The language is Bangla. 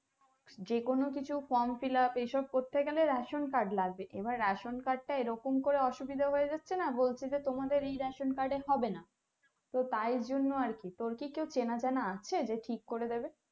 যে কোনো কিছু from fill up এইসব করতে গেলে Ration card লাগবে এবার ration card টা এরকম করে অসুবিধা হয় যাচ্ছে না বলছে যে তোমাদের এই ration card এ হবে না তো তার জন্য আর কি তোর কি কেও চেনা জানা আছে যে ঠিক করে দেবে